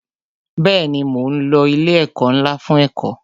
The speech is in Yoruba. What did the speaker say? Bẹẹni, mo ń lo ilé ẹ̀kọ́ ńlá fún ẹ̀kọ́